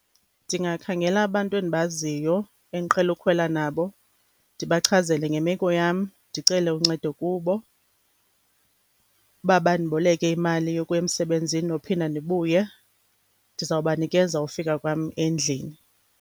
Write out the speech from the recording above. Ndingakhangela abantu endibaziyo endiqhele ukhwela nabo, ndibachazele ngemeko yam, ndicele uncedo kubo ukuba bandiboleke imali yokuya emsebenzi nophinda ndibuye, ndizawubanikeza ufika kwam endlini.